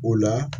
O la